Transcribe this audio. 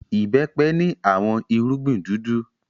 Ìbẹ́pẹ ni awọn irugbin dudu